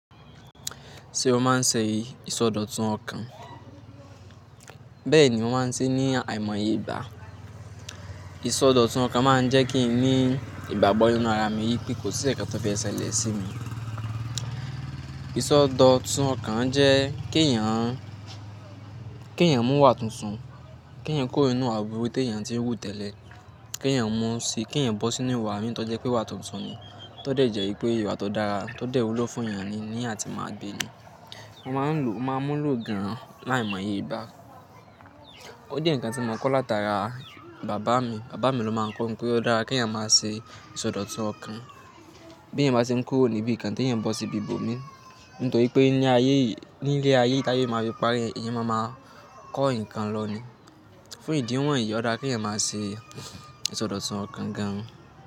Ṣé o máa ń ṣe ìsọdọ̀tun ọkàn? Bẹ́ẹ̀ ni wọn máa ń ṣe ní àìmọye ìgbà. Ìsọdọ̀tun ọkàn máa ń jẹ́ kí n ní ìgbágbọ́ nínú ara mi yí pé kò sí ẹ̀ẹ̀kan tó fe sele sí mi. Ìsọdọ̀tun ọkàn jẹ́ kí èèyàn, kí èèyàn mú wà tuntun, kí èèyàn kuru ninú iwà búrú tí èèyàn ti ń wú tẹ́lẹ̀, kí èèyàn mú sí, kí èèyàn bọ́ sí inú ìwà mi tó jẹ́ pé iwà tuntun yẹn, tó dẹ̀ jẹ́ pé ìwà tó dára, tó dẹ̀ wúlò fún èèyàn ni ní àti máa gbé ni. Wọ́n máa ń lò, máa ń mú lò gan-an láì mọye ìgbà. Ó jẹ́ ǹkan tí mo máa ń kọ́ látara bàbá mi, bàbá mi ló máa ń kọ́ ǹ pé ó dára kí èèyàn máa ṣe ìsọdọ̀tun ọkàn. Bí èèyàn bá ṣe ń kúrò níbí ǹkan tí èèyàn bọ́ sí ibi ibòmí, nítorí pé ní ayé yìí, ní ilé ayé yìí tí aye máa fi pare, èèyàn máa ma kọ́ ǹkan lọ ní. Fún ìdí wọ̀nyí ó dára kí èèyàn máa ṣe ìsọdọ̀tun ọkàn gan-an.